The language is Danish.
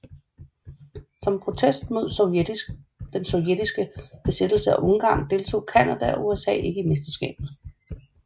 Som protest mod den sovjetiske besættelse af Ungarn deltog Canada og USA ikke i mesterskabet